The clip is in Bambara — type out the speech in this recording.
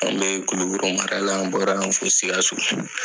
Anw be Kulikoro mara la, an' bɔra an fo Sikasso.